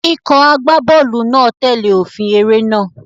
Ikọ̀ agbábọ́ọ̀lù náà tẹ̀lé òfin eré náà.